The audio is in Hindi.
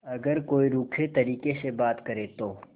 अगर कोई रूखे तरीके से बात करे तो